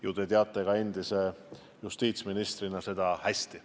Ju te teate endise justiitsministrina seda hästi.